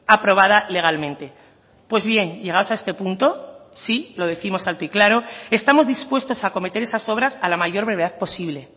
aprobada legalmente pues bien llegados a este punto sí lo décimos alto y claro estamos dispuestos a acometer esas obras a la mayor brevedad posible